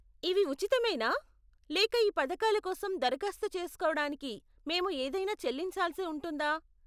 ఇవి ఉచితమేనా లేక ఈ పథకాల కోసం దరఖాస్తు చేసుకోవడానికి మేము ఏదైనా చెల్లించాల్సి ఉంటుందా?